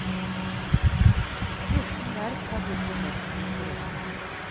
Fjorten verft har hittil meldt sin interesse.